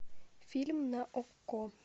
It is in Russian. фильм на окко